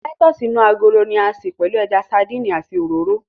Táítọ̀sì inú agolo ni a ṣe pẹ̀lú ẹja sandínì àti òróró